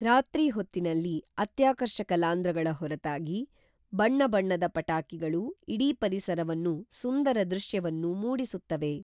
ರಾತ್ರಿ ಹೊತ್ತಿನಲ್ಲಿ ಅತ್ಯಾಕರ್ಷಕ ಲಾಂದ್ರಗಳ ಹೊರತಾಗಿ ಬಣ್ಣ ಬಣ್ಣದ ಪಟಾಕಿಗಳು ಇಡೀ ಪರಿಸರವನ್ನು ಸುಂದರ ಧೃವ್ಯವನ್ನು ಮೂಡಿಸುತ್ತವೆ